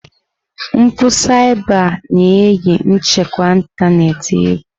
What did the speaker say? Mpụ saiba na-eyi nchekwa ịntanetị egwu.